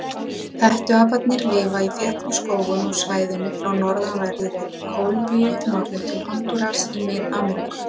Hettuaparnir lifa í þéttum skógum á svæðinu frá norðanverðri Kólumbíu norður til Hondúras í Mið-Ameríku.